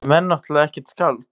Sem er náttúrlega ekkert skáld.